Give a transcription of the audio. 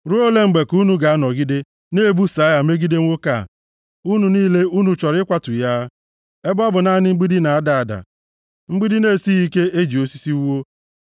Ruo ole mgbe ka unu ga-anọgide na-ebuso agha megide nwoke a? Unu niile, unu chọrọ ịkwatu ya, ebe ọ bụ naanị mgbidi na-ada ada, mgbidi na-esighị ike e ji osisi wuo?